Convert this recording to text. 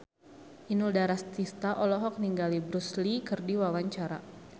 Inul Daratista olohok ningali Bruce Lee keur diwawancara